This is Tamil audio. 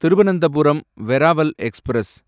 திருவனந்தபுரம் வெராவல் எக்ஸ்பிரஸ்